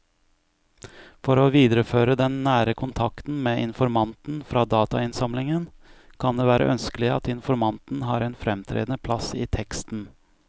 For å videreføre den nære kontakten med informanten fra datainnsamlingen kan det være ønskelig at informanten har en fremtredende plass i teksten.